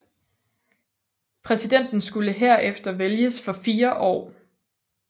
Præsidenten skulle her efter vælges for 4 år